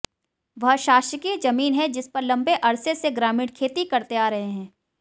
वह शासकीय जमीन है जिस पर लंबे अरसे से ग्रामीण खेती करते आ रहे हैं